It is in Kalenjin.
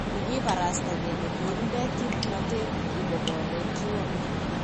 Kakibarasta kele kinde kipnotet ikobore kiwole.